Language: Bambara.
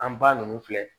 An ba ninnu filɛ